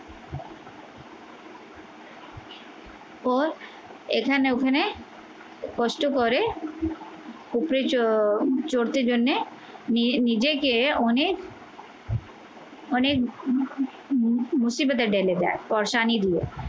ও এখানে ওখানে কষ্ট করে চড়তে জন্যে নিজেকে অনেক অনেক ঢেলে দেয়। দিয়ে।